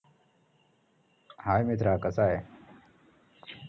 hi मित्रा कसा ए